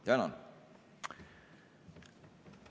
Tänan!